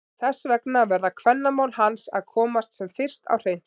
Þess vegna verða kvennamál hans að komast sem fyrst á hreint!